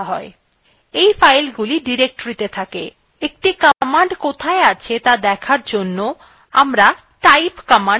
এই ফাইলগুলি ডিরেক্টরীতে থাকে একটি command কোথায় আছে ত়া দেখার জন্য আমরা type command ব্যবহার করতে পারি